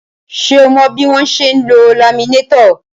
Ṣé o mọ bí wọ́n ṣe ń lo laminétọ̀?